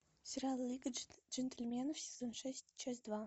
сериал лига джентльменов сезон шесть часть два